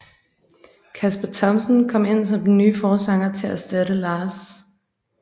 Kasper Thomsen kom ind som den nye forsanger til at erstatte Lars